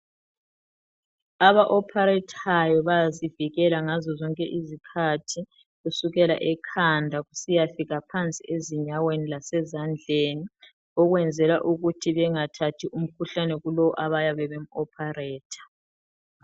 Aba opharethayo bayazivikela ngazo zonke izikhathi kusukela ekhanda kusiyafika phansi ezinyaweni lasezandleni ukwenzela ukuthi bengathathi umkhuhlane kulowo abayabe bemu operator